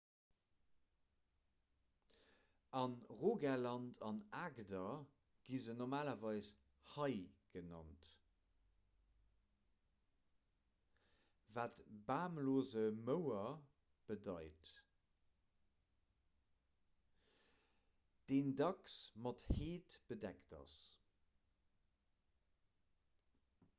a rogaland an agder gi se normalerweis 'hei' genannt wat bamlose mouer bedeit deen dacks mat heed bedeckt ass